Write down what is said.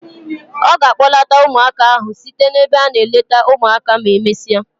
Ọ ga a kpọlata ụmụaka ahụ site n'ebe a na-eleta ụmụaka ma emesịa.